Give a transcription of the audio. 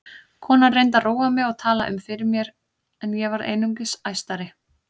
Konan reyndi að róa mig og tala um fyrir mér en ég varð einungis æstari.